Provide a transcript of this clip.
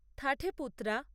থাঠেপুত্রা